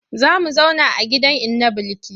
Za mu zauna a gidan inna Bilki.